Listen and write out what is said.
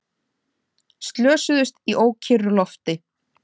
Slösuðust í ókyrru lofti